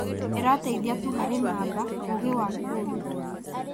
ĩrateithia tu harĩ namba: ũgĩ wa kũndũ.